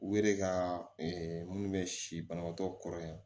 U yɛrɛ ka minnu bɛ si banabaatɔ kɔrɔ yan